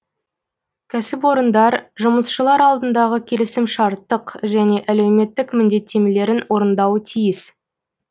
кәсіпорындар жұмысшылар алдындағы келісімшарттық және әлеуметтік міндеттемелерін орындауы тиіс